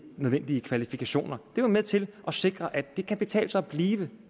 nødvendige kvalifikationer det er med til at sikre at det kan betale sig at blive